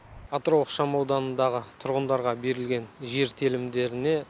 атырау ықшам ауданындағы тұрғындарға берілген жер телімдеріне